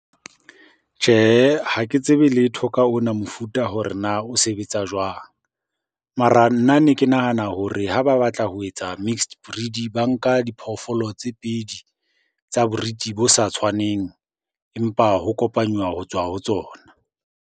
Tjhehe, ha ke tsebe letho ka ona mofuta hore na o sebetsa jwang? Mara nna ne ke nahana hore ha ba batla ho etsa mixed breed, ba nka diphoofolo tse pedi tsa breed bo sa tshwaneng empa ho kopanywa ho tswa ho tsona.